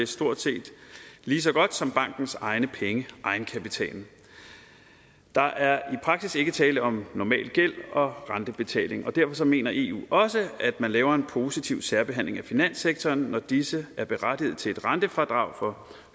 stort set lige så godt som bankens egne penge egenkapitalen der er i praksis ikke tale om normal gæld og rentebetaling og derfor mener eu også at man laver en positiv særbehandling af finanssektoren når disse er berettiget til et rentefradrag for